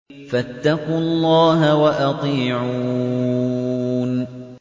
فَاتَّقُوا اللَّهَ وَأَطِيعُونِ